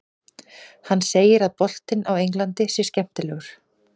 Hann segir að boltinn á Englandi sé skemmtilegur.